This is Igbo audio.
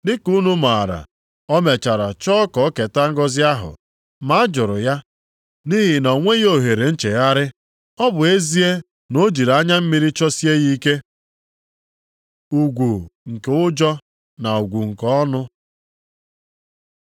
Dịka unu maara, o mechara chọọ ka o keta ngọzị ahụ, ma a jụrụ ya nʼihi na o nweghị ohere nchegharị. Ọ bụ ezie na o jiri anya mmiri chọsie ya ike. Ugwu nke Ụjọ na Ugwu nke Ọnụ